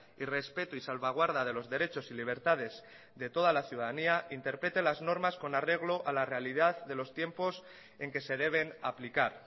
y respeto y salvaguarda de los derechos y libertades de toda la ciudadanía interprete las normas con arreglo a la realidad de los tiempos en que se deben aplicar